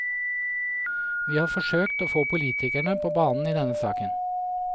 Vi har forsøkt å få politikerne på banen i denne saken.